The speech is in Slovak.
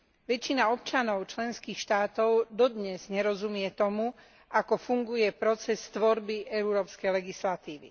Väčšina občanov členských štátov dodnes nerozumie tomu, ako funguje proces tvorby európskej legislatívy.